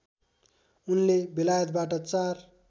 उनले बेलायतबाट चार